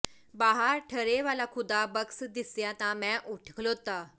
ਬਾਹਰ ਠਰ੍ਹੇ ਵਾਲਾ ਖ਼ੁਦਾ ਬਖ਼ਸ਼ ਦਿਸਿਆ ਤਾਂ ਮੈਂ ਉਠ ਖਲੋਤਾ